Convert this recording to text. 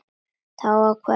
Það var ákveðið fyrir löngu.